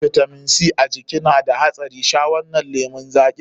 Rashin bitamin C a jiki na da haɗari, sha wannan lemun zaƙin.